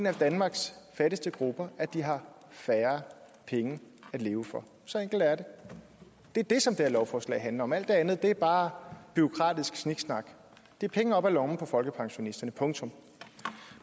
af danmarks fattigste grupper at de har færre penge at leve for så enkelt er det det er det som det her lovforslag handler om alt det andet er bare bureaukratisk sniksnak det er penge op af lommerne på folkepensionisterne punktum